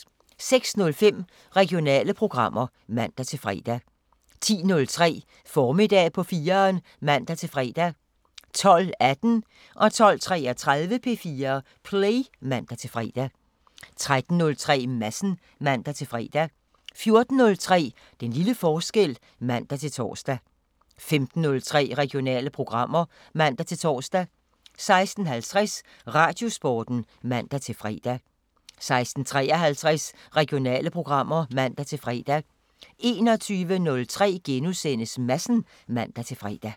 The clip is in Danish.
06:05: Regionale programmer (man-fre) 10:03: Formiddag på 4'eren (man-fre) 12:18: P4 Play (man-fre) 12:33: P4 Play (man-fre) 13:03: Madsen (man-fre) 14:03: Den lille forskel (man-tor) 15:03: Regionale programmer (man-tor) 16:50: Radiosporten (man-fre) 16:53: Regionale programmer (man-fre) 21:03: Madsen *(man-fre)